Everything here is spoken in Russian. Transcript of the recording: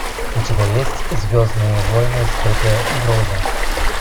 у тебя есть звездные войны скрытая угроза